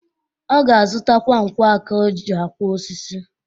Ọ ga-azutakwa nkwọ aka o ji akwọ osisi.